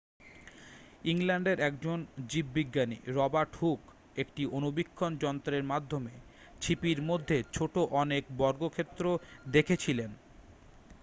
ইংল্যান্ডের একজন জীববিজ্ঞানী রবার্ট হুক একটি অণুবীক্ষণ যন্ত্রের মাধ্যমে ছিপির মধ্যে ছোট অনেক বর্গক্ষেত্র দেখেছিলেন